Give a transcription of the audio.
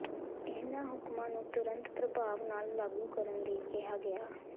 ਇਨ੍ਹਾਂ ਹੁਕਮਾਂ ਨੂੰ ਤੁਰੰਤ ਪ੍ਰਭਾਵ ਨਾਲ ਲਾਗੂ ਕਰਨ ਲਈ ਕਿਹਾ ਗਿਆ